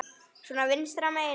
Svo vinstra megin.